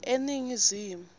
eningizimu